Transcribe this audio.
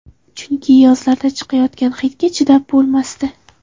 Chunki yozlarda chiqayotgan hidga chidab bo‘lmasdi.